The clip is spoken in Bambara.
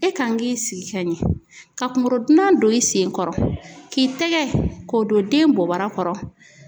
E kan k'i sigi ka ɲɛ, ka kunkorodonan don i sen kɔrɔ, k'i tɛgɛ k'o don den bobara kɔrɔ.